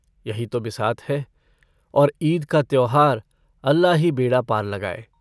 यही तो बिसात है और ईद का त्योहार अल्लाह ही बेड़ा पार लगाये।